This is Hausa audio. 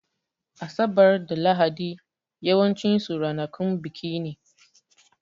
Asabar da Lahadi yawancin su ranakun biki ne